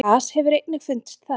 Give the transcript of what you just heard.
gas hefur einnig fundist þar